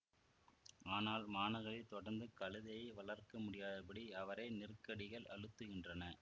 ஆனால் மாநகரில் தொடர்ந்து கழுதையை வளர்க்கமுடியாதபடி அவரை நெருக்கடிகள் அழுத்துகின்றன